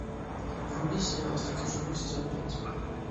вруби сериал остаться в живых сезон пять